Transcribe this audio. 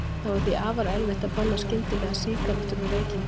Það var því afar erfitt að banna skyndilega sígarettur og reykingar.